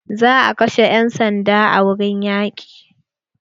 Za a kashe 'yan sanda a wurin yaƙi.